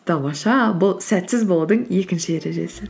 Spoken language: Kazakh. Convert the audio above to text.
тамаша бұл сәтсіз болудың екінші ережесі